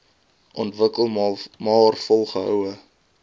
ontwikkel maar volgehoue